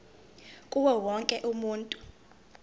kuwo wonke umuntu